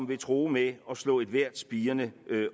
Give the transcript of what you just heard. vil true med at slå ethvert spirende